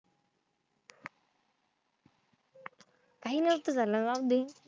काही नसत झालं जाऊदे.